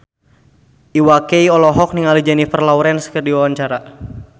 Iwa K olohok ningali Jennifer Lawrence keur diwawancara